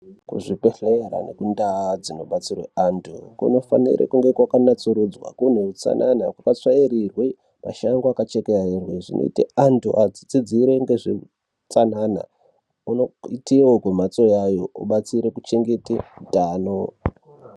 Kuzvi bhedhlera nendau dzino batsirwe anthu kunofanire kuna tsiridzwee kuti patsvairirwe, mashango akanasa kuchekererwa. Zvinoita kuti vanthu vafunde utsanana kubatsire utano.